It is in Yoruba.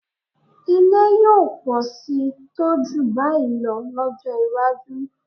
Ilé yóò pọ̀ síi tó jù báyìí lọ lọ́jọ́ iwájú